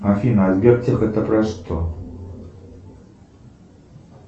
афина а сбертех это про что